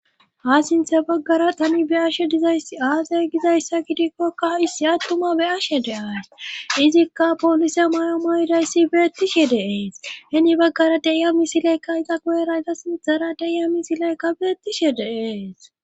ha sinthe baggara tani be ashe dizayssi aasey gizayssa gidikkokka issi attuma be ashe de ays izikka poolise mayomayidayssi beettishe deees heni baggara deiyami sileykka ita goerayta sinthara deya mi sileykka beettishe deees